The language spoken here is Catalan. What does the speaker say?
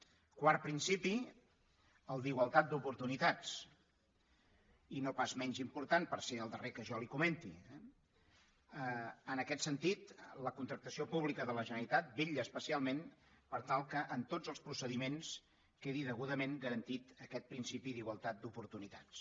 quart principi el d’igualtat d’oportunitats i no pas menys important per ser el darrer que jo li comenti eh en aquest sentit la contractació pública de la generalitat vetlla especialment per tal que en tots els procediments quedi degudament garantit aquest principi d’igualtat d’oportunitats